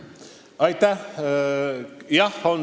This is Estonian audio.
Aitäh!